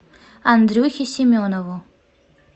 андрюхе семенову